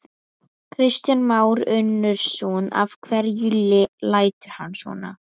Kristján Már Unnarsson: Af hverju lætur hann svona?